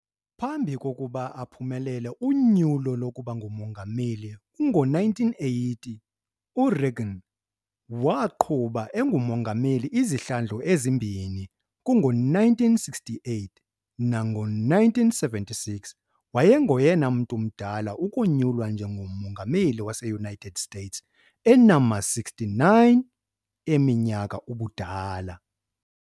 Phambi kokuba aphumelele unyulo lokuba ngumongameli kngo-1980, U-Reagan waqhuba engumongameli izihlandlo ezimbini kungo-1968 nak ngo-1976. Wayengoyena mntu mdala ukonyulwa nje ngomongameli waseUnited States enama-69 eminyaka ubudala.